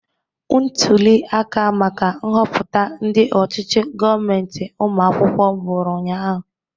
Ntuli aka maka nhọpụta ndị ọchichi gọọmentị ụmụ akwụkwọ bụrụ ụnyaahụ.